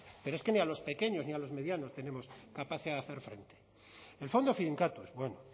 pero es que mira ni a los pequeños ni a los medianos tenemos capacidad de hacer frente el fondo finkatuz bueno